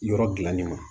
Yɔrɔ dilannen ma